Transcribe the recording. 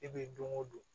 E bɛ don o don